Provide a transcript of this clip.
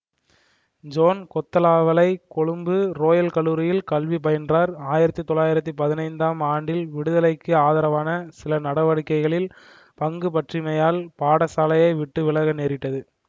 zone Kotelawala Colombo royal கல்லூரியில் கல்வி பயின்றார் ஆயிரத்தி தொள்ளாயிரத்தி பதினைந்தாம் ஆண்டில் விடுதலைக்கு ஆதரவான சில நடவடிக்கைகளில் பங்குபற்றியமையால் பாடசாலையை விட்டு விலக நேரிட்டது